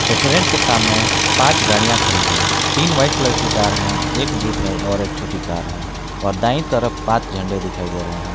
Restaurant के सामने पांच गाड़ियां खड़ी है तीन वाइट कलर की कार है एक जीप है और एक छोटी कार है और दाएं तरफ पांच झंडे दिखाई दे रहे हैं।